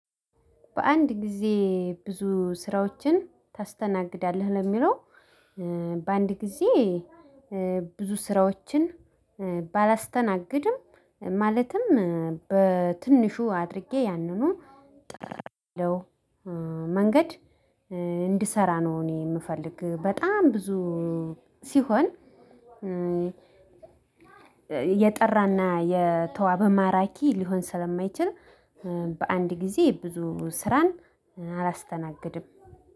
በአንድ ጊዜ ብዙ ስራዎችን ታስተናግዳለህ? ለሚለው በአንድ ጊዜ ብዙ ስራዎችን ባላስተናግድም ማለትም በትንሹ አድርጌ ያንኑ ጠርተው መንገድ እንድሰራ ነው። እኔ የምፈልግ በጣም ብዙ ሲሆን። የጠራና የተዋበ ማራኪ ሊሆን ስለማይችል በአንድ ጊዜ ብዙ ስራን አላስተናግድም።